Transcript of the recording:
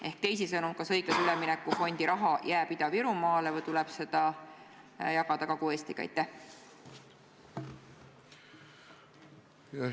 Ehk teisisõnu: kas õiglase ülemineku fondi raha jääb Ida-Virumaale või tuleb seda jagada Kagu-Eestiga?